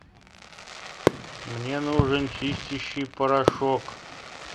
мне нужен чистящий порошок